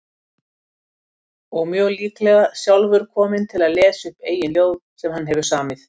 Og mjög líklega sjálfur kominn til að lesa upp eigin ljóð sem hann hefur samið.